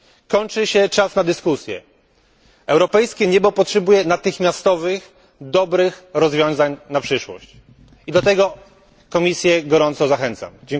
Kończy się czas na dyskusje, europejskie niebo potrzebuje natychmiastowych dobrych rozwiązań na przyszłość, do czego gorąco zachęcam Komisję.